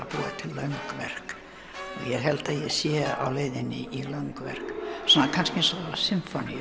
löng verk ég held að ég sé á leiðinni í löng verk kannski eins og sinfóníur